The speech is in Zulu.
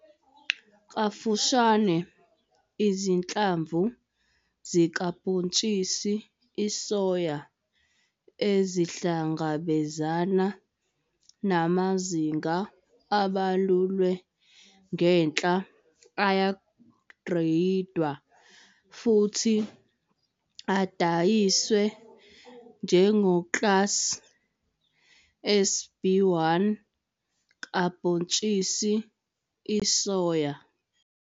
Kafushane, izinhlamvu zikabhontshisi isoya ezihlangabezana namazinga abalulwe ngenhla ayagreyidwa futhi adayiswe njengoklasi SB1 kabhontshisi isoya.